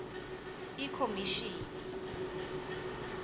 ikhomishini